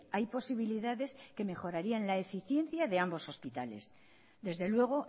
hay posibilidades que mejorarían la eficiencia de ambos hospitales desde luego